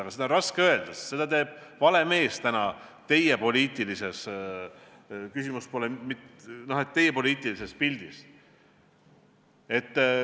Aga seda on raske öelda, sest seda teeb vale mees teie praeguses poliitilises pildis.